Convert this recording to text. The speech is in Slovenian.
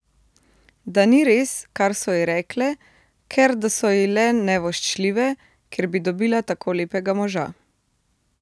Da ni res, kar so ji rekle, ker da so ji le nevoščljive, ker bi dobila tako lepega moža.